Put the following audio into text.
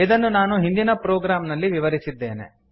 ಇದನ್ನು ನಾನು ಹಿಂದಿನ ಪ್ರೊಗ್ರಾಮ್ ನಲ್ಲಿ ವಿವರಿಸಿದ್ದೇನೆ